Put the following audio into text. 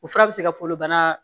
O fura bɛ se ka folobana